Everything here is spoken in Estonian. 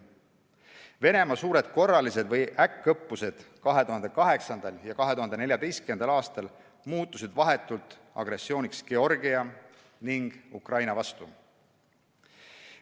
Venemaa suured korralised või äkkõppused 2008. ja 2014. aastal muutusid vahetult agressiooniks Georgia ning Ukraina vastu.